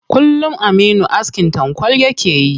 Kullum aminu askin tankwal yake yi.